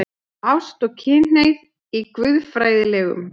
ÁST OG KYNHNEIGÐ Í GUÐFRÆÐILEGUM